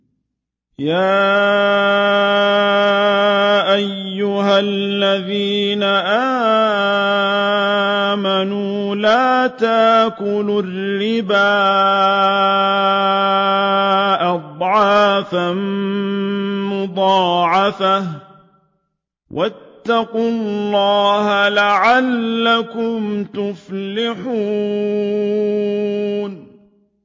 يَا أَيُّهَا الَّذِينَ آمَنُوا لَا تَأْكُلُوا الرِّبَا أَضْعَافًا مُّضَاعَفَةً ۖ وَاتَّقُوا اللَّهَ لَعَلَّكُمْ تُفْلِحُونَ